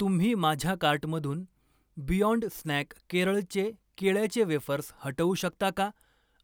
तुम्ही माझ्या कार्टमधून बियाँड स्नॅक केरळचे केळ्याचे वेफर्स हटवू शकता का